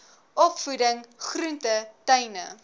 opvoeding groente tuine